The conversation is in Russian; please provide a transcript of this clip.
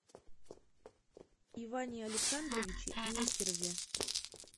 иване александровиче нестерове